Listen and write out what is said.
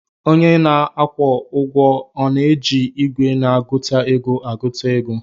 Onye na-akwụ ụgwọ ọ na-eji igwe na-agụta ego agụta ego